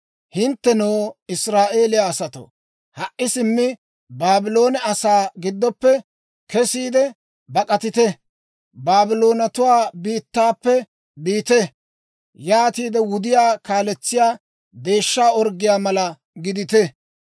«Hinttenoo, Israa'eeliyaa asatoo, ha"i simmi Baabloone asaa giddoppe kesiide bak'atite! Baabloonatuwaa biittaappe biite! Yaatiide wudiyaa kaaletsiyaa deeshsha orggiyaa mala gidite.